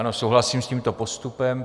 Ano, souhlasím s tímto postupem.